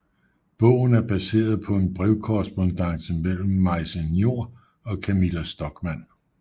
Bogen er baseret på en brevkorrespondance mellem Maise Njor og Camilla Stockmann